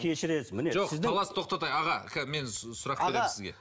кешірерсіз міне сіздің таласты тоқтатайық аға мен сұрақ беремін сізге